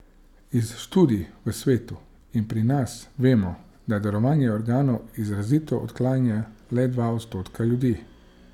Iz študij v svetu in pri nas vemo, da darovanje organov izrazito odklanja le dva odstotka ljudi.